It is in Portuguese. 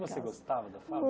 Você gostava da fábrica?